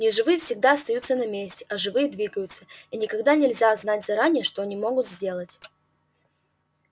неживые всегда остаются на месте а живые двигаются и никогда нельзя знать заранее что они могут сделать